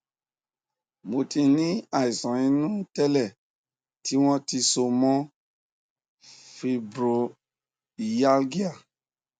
mo ti ní àìsàn inú tẹlẹ tí wọn ti so mọ fibromyalgia